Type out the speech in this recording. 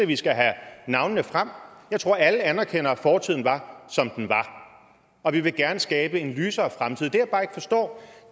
vi skal have navnene frem jeg tror at alle anerkender at fortiden var som den var og vi vil gerne skabe en lysere fremtid